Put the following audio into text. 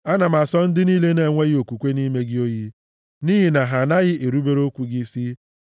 Ana m asọ ndị niile na-enweghị okwukwe nʼime gị oyi, nʼihi na ha anaghị erubere okwu gị isi.